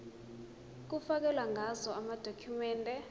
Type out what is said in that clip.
kufakelwe ngazo amadokhumende